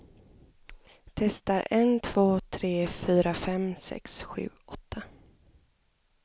Testar en två tre fyra fem sex sju åtta.